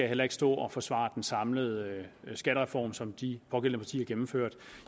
heller ikke stå og forsvare den samlede skattereform som de pågældende partier gennemførte